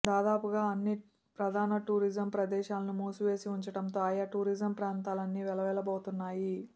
దాదాపుగా అన్ని ప్రధాన టూరిజం ప్రదేశాలనూ మూసివేసి ఉంచడంతో ఆయా టూరిజం ప్రాంతాలన్నీ వేల వేల బోతున్నాయి